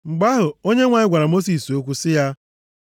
Mgbe ahụ, Onyenwe anyị gwara Mosis okwu sị ya,